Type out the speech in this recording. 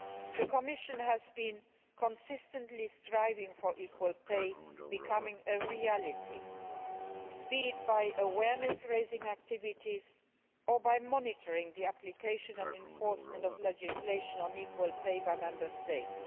The Commission has been consistently striving for equal pay to become a reality be it by awareness raising activities or by monitoring the application and enforcement of legislation on equal pay by the Member States.